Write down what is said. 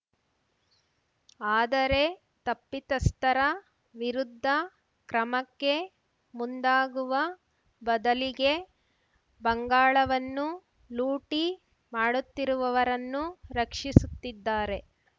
ಆದರೆ ತಪ್ಪಿತಸ್ಥರ ವಿರುದ್ಧ ಕ್ರಮಕ್ಕೆ ಮುಂದಾಗುವ ಬದಲಿಗೆ ಬಂಗಾಳವನ್ನು ಲೂಟಿ ಮಾಡುತ್ತಿರುವವರನ್ನು ರಕ್ಷಿಸುತ್ತಿದ್ದಾರೆ